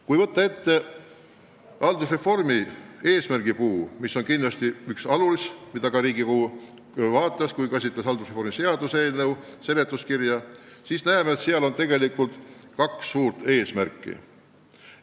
Kui võtta ette haldusreformi eesmärgipuu – mis on kindlasti üks alus, millest ka Riigikogu lähtus, kui käsitles haldusreformi seaduse eelnõu seletuskirja –, siis näeme, et on kaks suurt eesmärki.